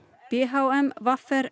b h m v r